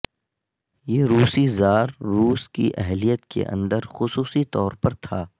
یہ روسی زار روس کی اہلیت کے اندر خصوصی طور پر تھا